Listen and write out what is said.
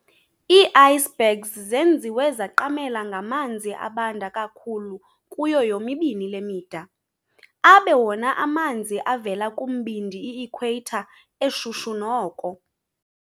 ii-Icebergs zenziwe zaqamela ngamanzi abanda kakhulu kuyo yomibini le mida, abe wona amanzi avela kumbindi i-equator eshushu noko.